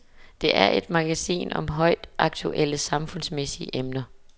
Det er et magasin om højaktuelle, samfundsmæssige emner.